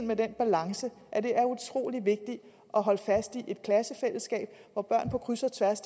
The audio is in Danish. med den balance at det er utrolig vigtigt at holde fast i et klassefællesskab hvor børn på kryds og tværs